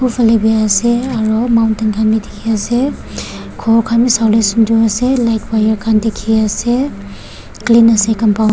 phuli bi ase aro mountain khanbi dikhiase khor khan bi sawolae sunder ase light wire khan dikhiase clean ase compound --